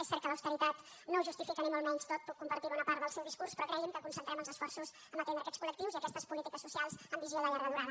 és cert que l’austeritat no ho justifica ni molt menys tot puc compartir bona part del seu discurs però cregui’m que concentrem els esforços a atendre aquests col·lectius i aquestes polítiques socials amb visió de llarga durada